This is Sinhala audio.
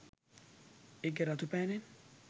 ඒකෙ රතු පෑනෙන්